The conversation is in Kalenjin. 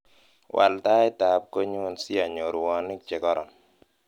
wal tait ab konyun asianyor rwonik chegoron